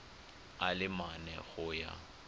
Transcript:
a le mane go ya